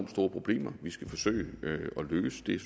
problemer vi skal forsøge at løse det